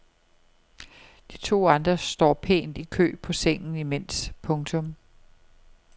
De to andre står pænt i kø på sengen imens. punktum